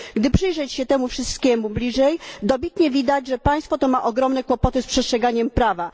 Gdy przyjrzeć się temu wszystkiemu bliżej, dobitnie widać, że państwo to ma okropne kłopoty z przestrzeganiem prawa.